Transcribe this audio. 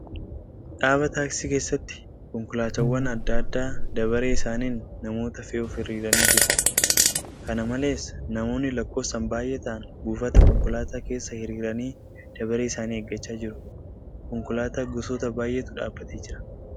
Dhaaba taaksii keessatti konkolaataawwan adda addaa dabaree isaaniin namoota fe'uuf hiriiranii jiru. Kana malees, namoonni lakkoofsaan baay'ee ta'an buufata konkolaaataa keessa hiriiranii dabaree isaanii eeggachaa jiru. Konkolaataa gosoota baay'etu dhaabbatee jira.